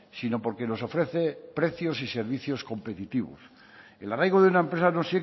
sino porque nos ofrece precios y servicios competitivos el arraigo de una empresa no